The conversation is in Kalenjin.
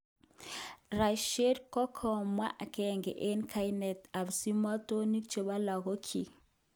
Rajshree kokakimwa agenge eng kainaik kap simotonik chebo lakokyik